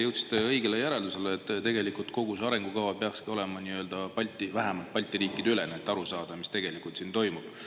Te jõudsite õigele järeldusele, et tegelikult kogu see arengukava peakski olema nii-öelda Balti, vähemalt Balti riikide ülene, et aru saada, mis tegelikult siin toimub.